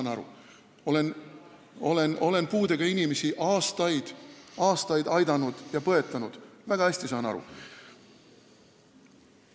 Ma olen aastaid-aastaid puudega inimesi aidanud ja põetanud – ma saan väga hästi sellest asjast aru.